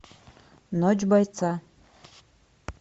ночь бойца